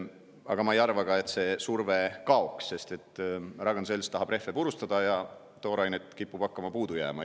Aga ma ei arva ka, et see surve kaoks, sest Ragn-Sells tahab rehve purustada ja toorainet kipub puudu jääma.